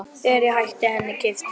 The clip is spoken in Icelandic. Þegar ég hætti henni keypti